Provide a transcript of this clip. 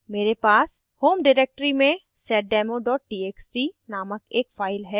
मेरे पास home directory में seddemo txt नामक एक file है